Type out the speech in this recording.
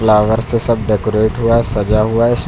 flower से सब decorate हुआ है सजा हुआ है इस--